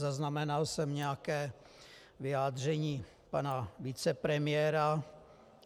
Zaznamenal jsem nějaké vyjádření pana vicepremiéra.